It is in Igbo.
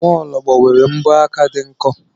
Nwaologbo nwere mbọ aka dị nkọ.